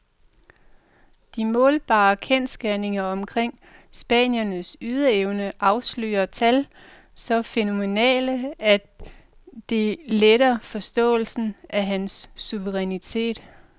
De målbare kendsgerninger omkring spanierens ydeevne afslører tal så fænomenale, at det letter forståelsen af hans suverænitet.